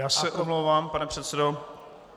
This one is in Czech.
Já se omlouvám, pane předsedo.